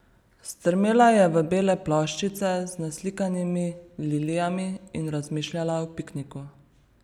Strmela je v bele ploščice z naslikanimi lilijami in razmišljala o pikniku.